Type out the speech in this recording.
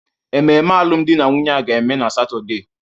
ememe alụmdi na nwunye a ga-eme na Satọde